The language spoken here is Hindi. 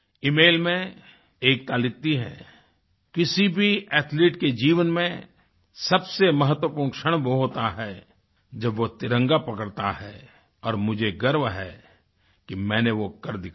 इमेल में एकता लिखती हैं किसी भी एथलीट के जीवन में सबसे महत्वपूर्ण क्षण वो होता है जब वो तिरंगा पकड़ता है और मुझे गर्व है कि मैंने वो कर दिखाया